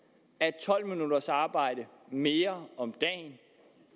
at tolv minutters arbejde mere om dagen